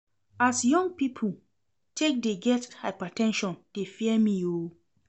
As young pipo take dey get hyper ten sion dey fear me o.